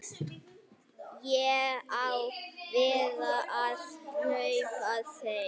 Ég á víst að hjálpa þér.